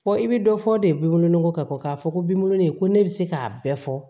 Fɔ i bɛ dɔ fɔ de bibulon ni kɔ ka bɔ k'a fɔ ko bolonɔ ko ne be se k'a bɛɛ fɔ